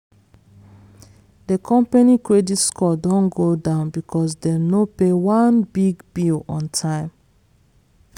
the company credit score don go down because dem no pay one big bill on time.